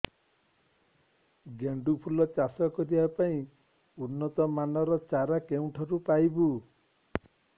ଗେଣ୍ଡୁ ଫୁଲ ଚାଷ କରିବା ପାଇଁ ଉନ୍ନତ ମାନର ଚାରା କେଉଁଠାରୁ ପାଇବୁ